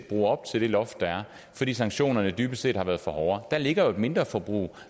bruge op til det loft der er fordi sanktionerne dybest set har været for hårde der ligger jo et mindreforbrug